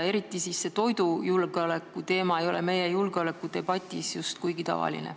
Eriti see toidujulgeoleku teema ei ole meie julgeolekudebatis just kuigi tavaline.